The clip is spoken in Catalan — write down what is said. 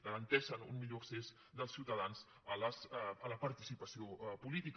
garanteixen un millor accés dels ciutadans a la participació política